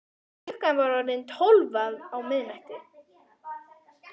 Klukkan var orðin tólf á miðnætti.